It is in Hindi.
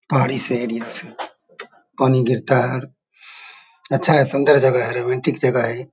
पहाड़ी शेर पानी गिरता है अच्छा है सुंदर जगा है रोमांटिक जगा है ये।